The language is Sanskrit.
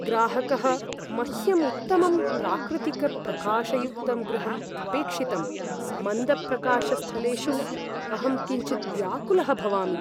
ग्राहकः, मह्यम् उत्तमं प्राकृतिकप्रकाशयुक्तं गृहम् अपेक्षितम्, मन्दप्रकाशस्थलेषु अहं किञ्चिद् व्याकुलः भवामि।